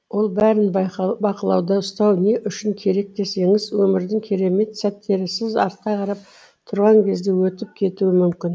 ол бәрін бақылауда ұстау не үшін керек десеңіз өмірдің керемет сәттері сіз артқа қарап тұрған кезде өтіп кетуі мүмкін